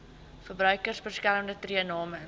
verbruikersbeskermer tree namens